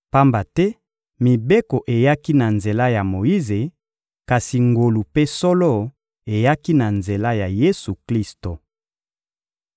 pamba te Mibeko eyaki na nzela ya Moyize, kasi ngolu mpe solo eyaki na nzela ya Yesu-Klisto.